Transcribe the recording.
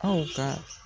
Aw ka